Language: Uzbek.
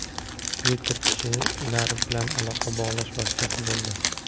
Twitter kishilar bilan aloqa bog‘lash vositasi bo‘ldi.